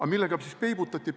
Aga millega siis peibutati?